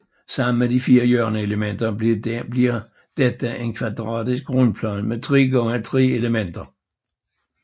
Sammen med de fire hjørneelementer bliver dette en kvadratisk grundplan med tre gange tre elementer